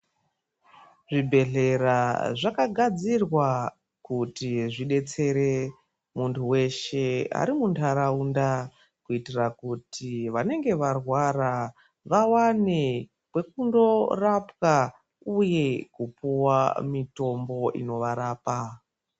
Zvibhedhlera zvakagadzirwa kuti zvidetsere, munhu weshe ari muntaraunda ,kuitira kuti vanenge varwara vawane kwekundorapwa, uye kupuwa mitombo inovarapa.